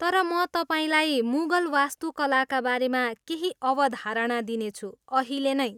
तर म तपाईँलाई मुगल वास्तुकलाका बारेमा केही अवधारणा दिनेछु, अहिले नै।